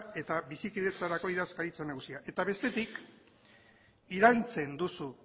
eta bizikidetzarako idazkaritza nagusia eta bestetik iraintzen duzu